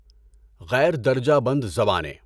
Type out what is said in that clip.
غیر درجہ بند زبانیں